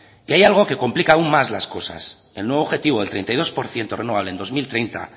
y hay algo que complica aún más las cosas el nuevo objetivo del treinta y dos por ciento renovable en dos mil treinta